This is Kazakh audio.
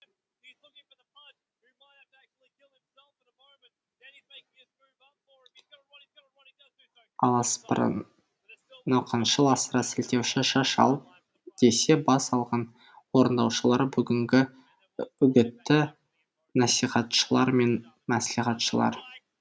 аласапыран науқаншыл асыра сілтеуші шаш ал десе бас алған орындаушылар бұгінгі үгіт насихатшылар мен мәслихатшылар